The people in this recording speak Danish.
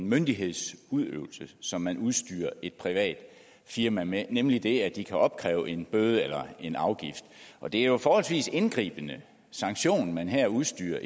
myndighedsudøvelse som man udstyrer et privat firma med nemlig det at de kan opkræve en bøde eller en afgift det er jo en forholdsvis indgribende sanktion man her udstyrer